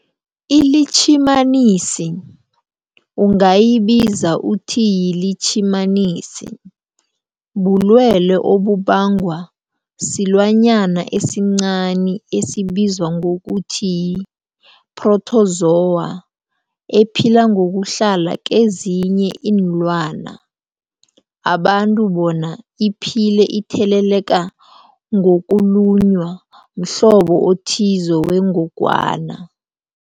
iLitjhimanisi ungayibiza uthiyilitjhimanisi, bulwelwe obubangwa silwanyana esincani esibizwa ngokuthiyi-phrotozowa ephila ngokuhlala kezinye iinlwana, abantu bona iphile itheleleka ngokulunywa mhlobo othize wengogwana.